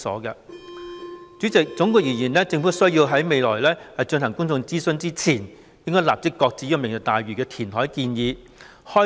代理主席，總括而言，政府在未進行公眾諮詢前，應該立即擱置"明日大嶼願景"的填海建議。